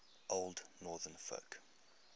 old northern folk